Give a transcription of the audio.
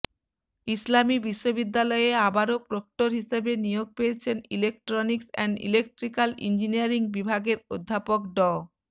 ইসলামী বিশ্ববিদ্যালয়ে আবারও প্রক্টর হিসেবে নিয়োগ পেয়েছেন ইলেকট্রনিকস অ্যান্ড ইলেকট্রিক্যাল ইঞ্জিনিয়ারিং বিভাগের অধ্যাপক ড